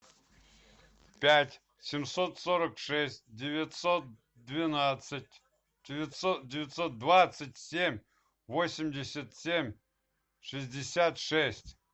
пять семьсот сорок шесть девятьсот двенадцать девятьсот двадцать семь восемьдесят семь шестьдесят шесть